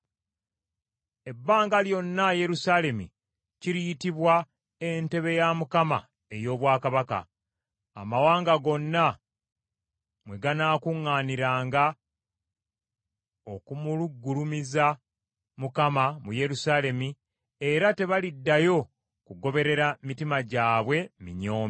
Ebbanga lyonna Yerusaalemi kiriyitibwa Entebe ya Mukama ey’Obwakabaka, amawanga gonna mwe ganaakuŋŋaaniranga okumugulumiza Mukama mu Yerusaalemi era tebaliddayo kugoberera mitima gyabwe minyoomi.